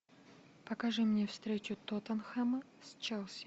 покажи мне встречу тоттенхэма с челси